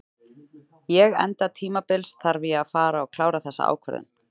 Ég enda tímabils þarf ég að fara að klára þessa ákvörðun.